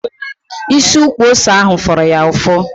Isi ukwu ose ahụ fụrụ ya ụfụ